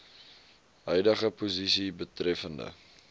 huidige posisie betreffende